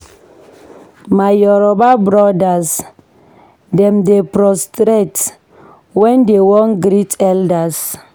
My Yoruba brodas dem dey prostrate wen dey wan greet elders.